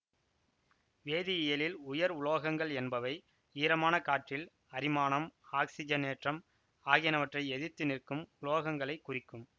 வேதியியலில் உயர் உலோகங்கள் என்பவை ஈரமான காற்றில் அரிமானம் ஆக்சிஜனேற்றம் ஆகியனவற்றை எதிர்த்து நிற்கும் உலோகங்களைக் குறிக்கும்